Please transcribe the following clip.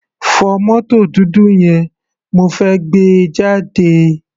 Fọ mótò dúdú yẹn, mo fẹ́ gbé e jáde.